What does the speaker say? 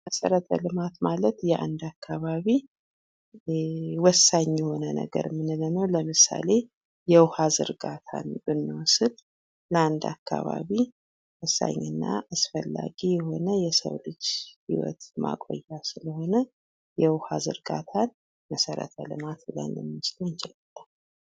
መሰረተ ልማት ማለት የአንድ አካባቢ ወሳኝ ነገር የምንለው ነው ለምሳሌ የውሃን ዘርጋታ ብናወስድ በአንድ አካባቢ ወሳኝና አስፈላጊ የሆነ የሰው ልጅ ህይወት ማቆያ ስለሆነ የውሃ ዘርጋታ መሰረተ ልማት ብለን ማለት እንችላለን ::